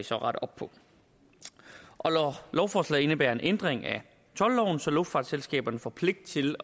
så rette op på lovforslaget indebærer en ændring af toldloven så luftfartsselskaberne får pligt til